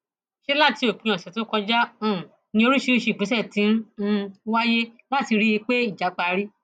ṣe láti òpin ọsẹ tó kọjá um ni oríṣiríṣiì ìgbésẹ ti um ń wáyé láti rí i pé ìjà parí